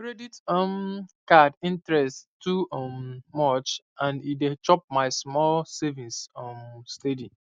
credit um card interest too um much and e dey chop my small savings um steady